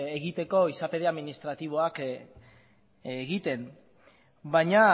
egiteko izapide administratiboak egiten baina